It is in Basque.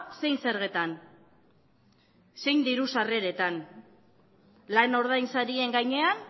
zein zergetan zein diru sarreretan lan ordainsarien gainean